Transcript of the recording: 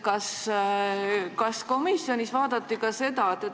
Kas komisjonis käsitleti ka seda?